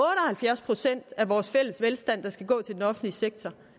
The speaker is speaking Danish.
halvfjerds procent af vores fælles velstand der skal gå til den offentlige sektor